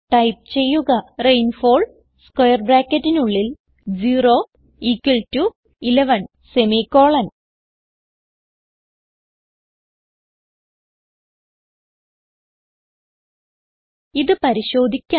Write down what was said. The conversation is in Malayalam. ടൈപ്പ് ചെയ്യുക റെയിൻഫോൾ 0 11 ഇത് പരിശോധിക്കാം